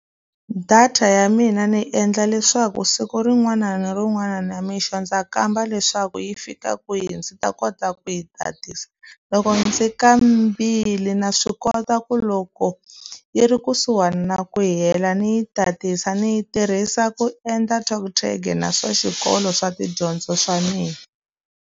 Data ya mina ni endla leswaku siku rin'wana na rin'wana nimixo ndza kamba leswaku yi fika kwihi, ndzi ta kota ku yi tatisa. Loko ndzi kambile na swi kota ku loko yi ri kusuhani na ku hela ni yi tatisa. Ni yi tirhisa ku endla TalkTag na swa xikolo swa tidyondzo swa mina.